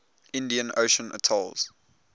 indian ocean atolls